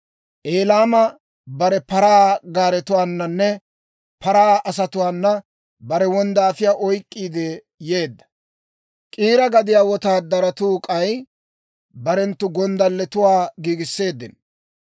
Elaame bare paraa gaaretuwaananne paraa asatuwaana bare wonddaafiyaa oyk'k'iide yeedda; K'iira gadiyaa wotaadaratuu k'ay barenttu gonddalletuwaa giigisseeddino.